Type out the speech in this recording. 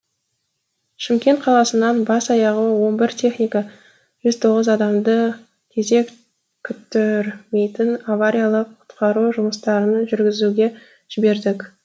шымкент қаласынан бас аяғы он бір техника жүз тоғыз адамды кезек күттірмейтін авариялық құтқару жұмыстарын жүргізуге жібердік